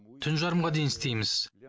түн жарымға дейін істейміз